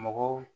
Mɔgɔw